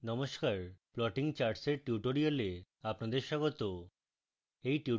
নমস্কার plotting charts এর tutorial আপনাদের স্বাগত